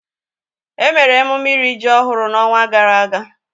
Emere emume iri ji ọhụrụ n'ọnwa gara aga